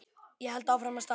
Ég held áfram að stara.